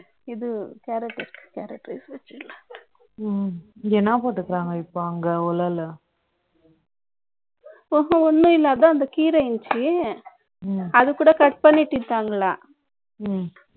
இது, carrot, carrot rice வச்சு, ம், என்னா போட்டிருக்காங்க, இப்ப அங்க, உலைல அப்போ ஒண்ணும் இல்லாத, அந்த கீரை இருந்துச்சு. ம். அதுகூட cut பண்ணிட்டு இருக்காங்களாம். ம்